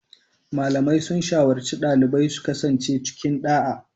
Malamai sun shawarci dalibai su kasance cikin ɗa'a